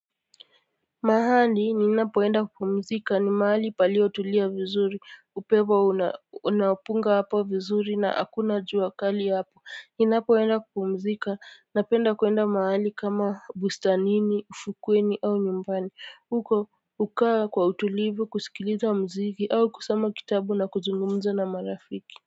Mahali ninapoenda kupumzika ni mahali palio tulia vizuri upepo una unapunga hapa vizuri na hakuna jua kali hapo ninapoenda kupumzika napenda kuenda mahali kama bustanini ufukweni au nyumbani huko hukaa kwa utulivu kusikiliza muziki au kusoma kitabu na kuzungumza na marafiki.